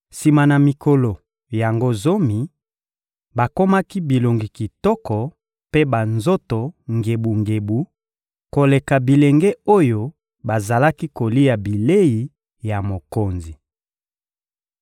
Sima na mikolo yango zomi, bakomaki bilongi kitoko mpe banzoto ngebungebu koleka bilenge oyo bazalaki kolia bilei ya mokonzi.